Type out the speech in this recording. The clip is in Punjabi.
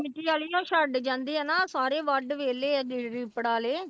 ਮਿੱਟੀ ਵਾਲੀ ਉਹ ਛੱਡ ਜਾਂਦੇ ਆ ਨਾ ਸਾਰੇ ਵੱਢ ਵਿਹਲੇ ਆ ਰੀਪੜ ਵਾਲੇ।